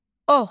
Ox.